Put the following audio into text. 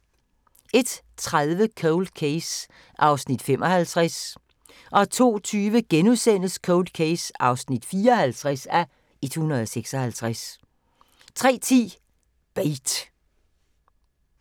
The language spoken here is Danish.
01:30: Cold Case (55:156) 02:20: Cold Case (54:156)* 03:10: Bait